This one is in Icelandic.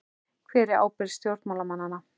Hver er ábyrgð stjórnmálamanna?